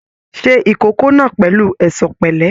Ṣe ìkókó náà pẹ̀lú ẹ̀ṣọ̀ pẹ̀lẹ́!